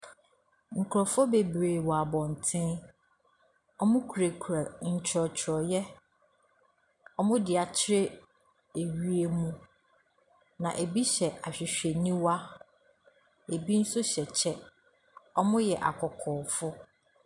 Nkrɔfoɔ bebiri wɔ abonten ɔmu kurakura twerɛtwerɛ yɛ ɔmu di akyerɛ wiem ebi hyɛ ahwehwɛ ne wa ebi mu nso hyɛ kyɛw ɔmo yɛ akɔkɔfoɔ.